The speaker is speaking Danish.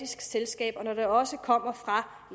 selskab og når de også kommer fra